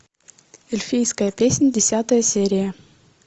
эльфийская песнь десятая серия